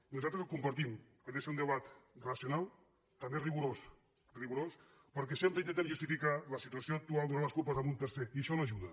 nosaltres ho compartim ha de ser un debat racional també rigorós perquè sempre intentem justificar la situació actual donant les culpes a un tercer i això no ajuda